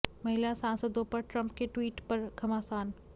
महिला सांसदों पर ट्रंप के ट्वीट पर घमासान